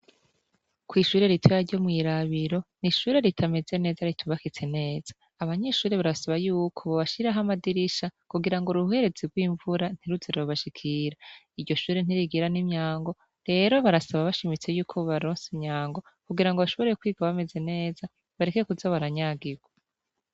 Kw'ishure ritaya ryo mw'irabiro ni ishure ritameze neza ritubakitse neza abanyishure barasaba yuko bobashiraho amadirisha kugira ngo uruherezi rw'imvura ntiruzerobashikira iryo shure ntirigira n'imyango rero barasaba abashimitse yuko baronse myango kugira ngo bashoboreye kwiga bameze neza bareke kuzobaranyagirwa.